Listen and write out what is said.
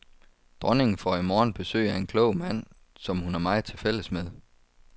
Dronningen får i morgen besøg af en klog mand, som hun har meget til fælles med.